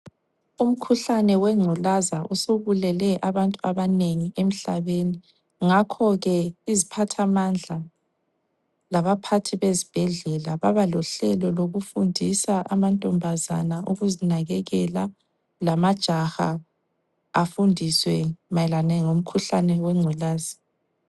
Umkhuhlane wengculaza usubulele abantu abanengi emhlabeni ngakho ke iziphathamandla labaphathi bezibhedlela baba lohlelo lokufundisa amantombazana ukuzinakekela lamajaha afundiswe mayelana ngomkhuhlane wengculaza.